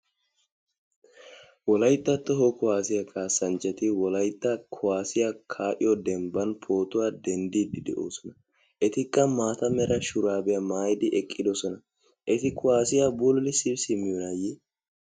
Wolaytta toho kuwasiyaa kasanchchati wolaytta kuwasiya ka"iyo demban pootuwaa denddidi deosona. Ettikka maataa meera shurabiyaa maayidi eqqidosona. Etti kuwasiyaa bululisi simmiyonaye?